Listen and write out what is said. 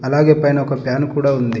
అలాగే పైన ఒక ఫ్యాన్ కూడా ఉంది.